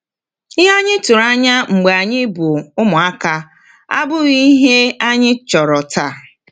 Ihe anyị tụrụ anya mgbe anyị bụ ụmụaka abụghị ihe anyị chọrọ taa.